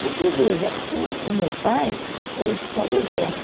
Porque, veja, o o meu pai era oficial do Exército.